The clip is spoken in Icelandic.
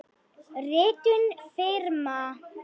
Ritun firma.